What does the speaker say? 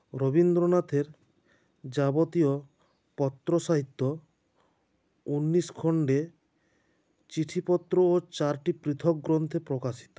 রবীন্দ্রনাথের যাবতীয় পত্রসাহিত্য ঊন্নিশ খন্ডে চিঠিপত্র ও চারটি পৃথক গ্ৰন্থে প্রকাশিত